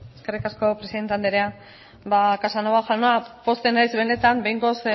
eskerrik asko presidente anderea casanova jauna pozten naiz benetan behingoz